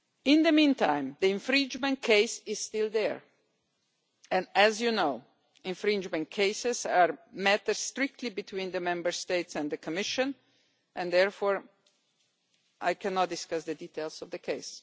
In the meantime, the infringement case is still there and, as you know, infringement cases are matters strictly between the Member States and the Commission and therefore I cannot discuss the details of the case.